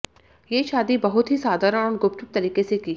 ये शादी बहुत ही साधारण और गुपचुप तरीके से की